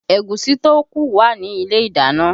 Ẹ̀gúsí tó kù wà ní ilé ìdáná